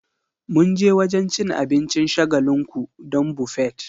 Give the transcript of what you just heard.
Mun je wajen cin abincin shagalinku don Buffet